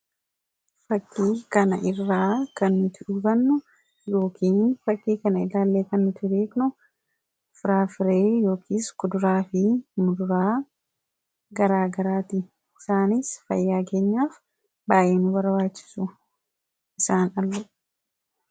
fakkii kana irraa kannuti dhubannu yookiin fakkii kana ilaallee kannutiriikno firaafiree yookiis kuduraa fi murraa garaagaraati isaanis fayyaageenyaaf baay'eenu barwaachisu isaan allu